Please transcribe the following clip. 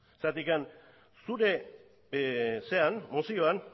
zeren zure mozioan